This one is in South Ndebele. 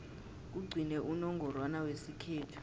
kugcine unongorwana wesikhethu